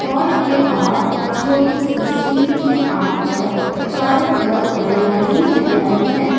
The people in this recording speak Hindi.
हॉल के बाहर एक छोटी सी स्टील की आर्च है चारों तरफ हरियाली हरियाली है।